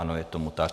Ano, je tomu tak.